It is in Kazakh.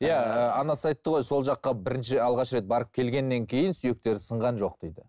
иә ііі анасы айтты ғой сол жаққа бірінші алғаш рет барып келгеннен кейін сүйектері сынған жоқ дейді